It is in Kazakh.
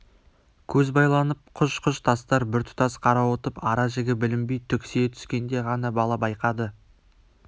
көз байланып құж-құж тастар біртұтас қарауытып ара-жігі білінбей түксие түскенде ғана бала байқады